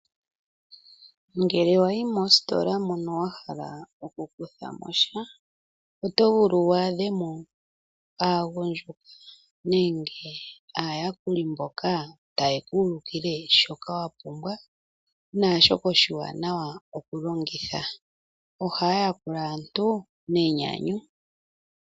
Ngele wayi mositola mono wa hala okukutha mo sha oto vulu wa adhe mo aagundjuka nenge aayakuli mboka taye ku ulukile shoka wa pumbwa naashoka oshiwanawa okulongitha. Ohaa yakula aantu nenyanyu.